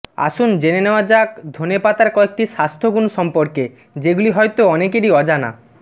আসুন জেনে নেওয়া যাক ধনেপাতার কয়েকটি স্বাস্থ্যগুণ সম্পর্কে যেগুলি হয়তো অনেকেরই অজানা